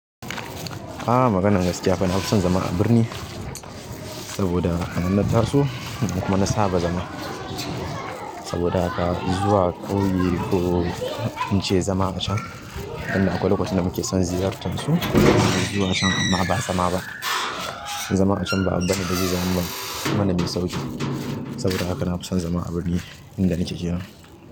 A maganan gaskiya fa na fi son zama a birni saboda anan na taso kuma na saba zama. Saboda haka zuwa ƙauye ko in ce zama a can, inda akwai lokacin da muke son ziyartar su. Zuwa can ma ba a zama ba, zama a can ba a daina ba ziyarar man. Ba abu ba ne mai sauƙi, saboda haka na fi son zama a birni inda nake kenan.